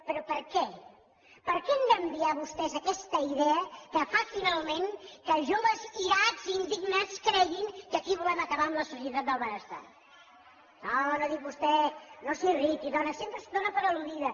però per què per què han d’enviar vostès aquesta idea que fa finalment que joves irats i indignats creguin que aquí volem acabar amb la societat del benestar no s’irriti dona sempre es dóna per al·ludida